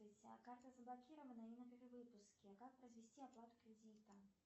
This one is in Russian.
карта заблокирована и на перевыпуске как произвести оплату кредита